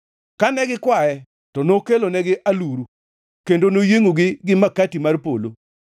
Kane gikwaye, to nokelonegi aluru kendo noyiengʼogi gi makati mar polo.